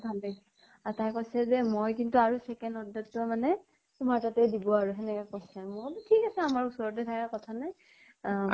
ভাল লাগিছে। আৰু তাই কৈছে যে মই কিন্তু আৰু second order টো তোমাৰ তাতে দিব আৰু সেনেকে কৈছে। মই বুলু ঠিক আছে। আমাৰ ওচৰতে থাকে কথা নাই। আহ